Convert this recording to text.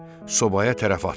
Sobaya tərəf atıldı.